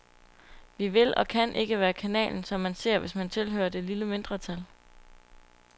Vi vil og kan ikke være kanalen, som man ser, hvis man tilhører det lille mindretal.